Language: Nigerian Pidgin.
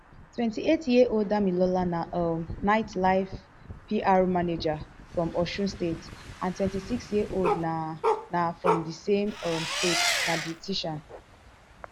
twenty-eighty years ears old damilola na um nightlife pr manager from osun state and twenty-six years old na na from di same um state na beautician